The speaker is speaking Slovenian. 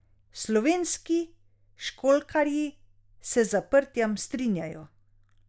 Slovenski školjkarji se z zaprtjem strinjajo.